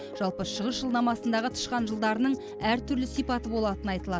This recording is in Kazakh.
жалпы шығыс жылнамасындағы тышқан жылдарының әртүрлі сипаты болатыны айтылады